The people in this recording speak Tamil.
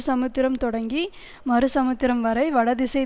சமுத்திரம் தொடங்கி மறு சமுத்திரம் வரை வடதிசை